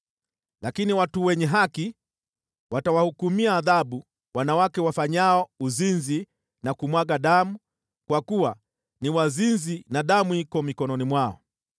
Lakini watu wenye haki, watawahukumia adhabu wanawake wafanyao uzinzi na kumwaga damu, kwa kuwa ni wazinzi na damu iko mikononi mwao.